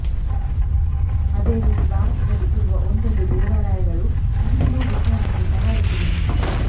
ಅದೇ ರೀತಿ ಭಾರತದಲ್ಲಿ ಇರುವ ಒಂದೊಂದು ದೇವಾಲಯಗಳು ಇಂದಿಗೂ ವಿಜ್ಞಾನಕ್ಕೆ ಸವಾಲೆಸೆದು ನಿಂತಿದೆ